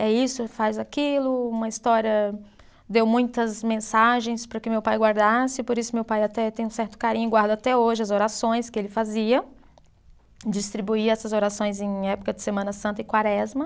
É isso, faz aquilo, uma história, deu muitas mensagens para que meu pai guardasse, por isso meu pai até tem um certo carinho, guarda até hoje as orações que ele fazia, distribuía essas orações em época de Semana Santa e Quaresma.